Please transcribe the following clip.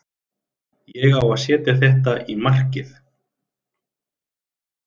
Ég á að setja þetta í markið.